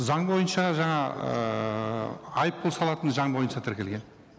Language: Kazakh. заң бойынша жаңа ыыы айыппұл салатыны заң бойынша тіркелген